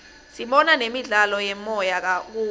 sibona nemidlalo yemoya kubo